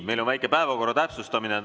Meil on väike päevakorra täpsustus.